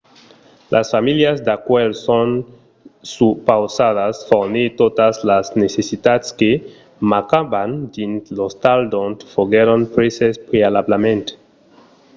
las familhas d'acuèlh son supausadas fornir totas las necessitats que mancavan dins l’ostal d’ont foguèron preses prealablament